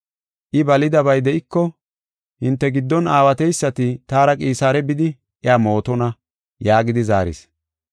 I balidabay de7iko hinte giddon aawateysati taara Qisaare bidi iya mootona” yaagidi zaaris.